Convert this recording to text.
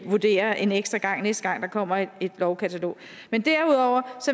vurdere en ekstra gang næste gang der kommer et lovkatalog derudover